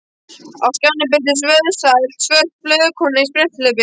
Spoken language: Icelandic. Á skjánum birtist vöðvastælt svört hlaupakona í spretthlaupi.